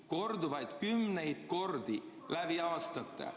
Korduvalt, kümneid kordi läbi aastate.